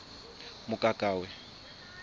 mokakawe